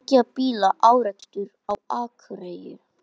Tveggja bíla árekstur á Akureyri